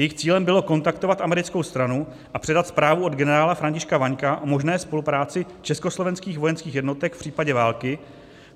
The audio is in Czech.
Jejich cílem bylo kontaktovat americkou stranu a předat zprávu od generála Františka Vaňka o možné spolupráci československých vojenských jednotek v případě války,